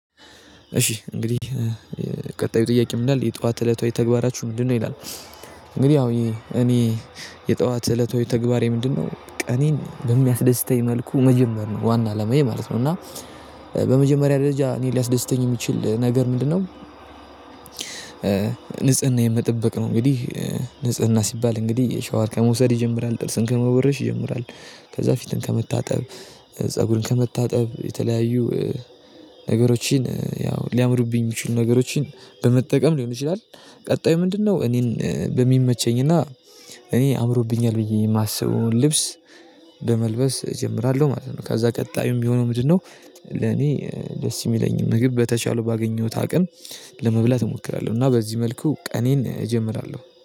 እሺ እንግዲህ ቀጣዩ ጥያቄ ምን ይላል የጠዋት እለታዊ ተግባራችሁ ምንድነው ይላል? እንግዲህ ያው እኔ የጠዋት እለታዊ ተግባሬ ምንድነው ቀኔን በሚያስደስተኝ መልኩ መጀመር ነው ዋና አላማዬ ማለት ነው። እና በመጀመሪያ ደረጃ እኔ ሊያስደስተኝ የሚችል ነገር ምንድነው? ንጽህናዬን መጠበቅ ነው እንግዲህ። ንጽህና ሲባል እንግዲህ ሻወር ከመውሰድ ይጀምራል፣ ጥርስን ከመቦረሽ ይጀምራል፣ ከዛ ፊትን ከመታጠብ፣ ፀጉርን ከመታጠብ የተለያዩ ነገሮችን ያው ሊያምሩብኝ የሚችሉ ነገሮችን በመጠቀም ሊሆን ይችላል፤ ቀጣዩ ምንድነው? እኔን በሚመቸኝ እና እኔ አምሮብኛል ብዬ የማስበውን ልብስ በመልበስ እጀምራለሁ ማለት ነው። ከዛ ቀጣዩ ሚሆነው ምንድነው? ለኔ ደስ የሚለኝን ምግብ በተቻለ ባገኘሁት አቅም ለመብላት እሞክራለሁ እና በዚህ መልኩ ቀኔን እጀምራለሁ